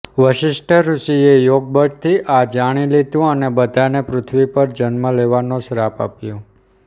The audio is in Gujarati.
વસિષ્ઠ ઋષિએ યોગ બળથી આ જાણી લીધું અને બધાને પૃથ્વી પર જન્મ લેવાનો શ્રાપ આપ્યો